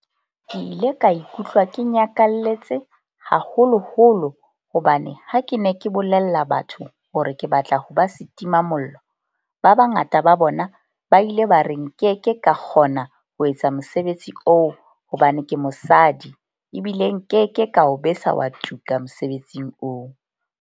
"Ke ile ka ikutlwa ke nyakalletse, haholoholo hobane ha ke ne ke bolella batho hore ke batla ho ba setimamollo, ba bangata ba bona ba ile ba re nke ke ka kgona ho etsa mosebetsi oo hobane ke mosadi ebile nke ke ka o besa wa tuka mosebetsing oo."